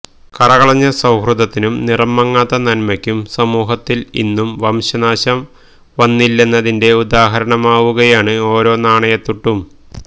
കറകളഞ്ഞ സൌഹൃദത്തിനും നിറംമങ്ങാത്ത നന്മയ്ക്കും സമൂഹത്തില് ഇന്നും വംശനാശം വന്നില്ലെന്നതിന്റെ ഉദാഹരണമാവുകയാണ് ഓരോ നാണയത്തുട്ടും